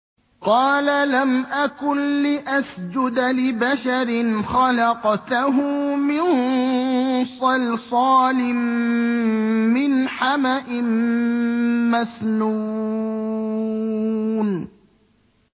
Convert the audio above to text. قَالَ لَمْ أَكُن لِّأَسْجُدَ لِبَشَرٍ خَلَقْتَهُ مِن صَلْصَالٍ مِّنْ حَمَإٍ مَّسْنُونٍ